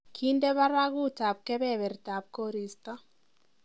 kinde baragut ab kebebertab koristo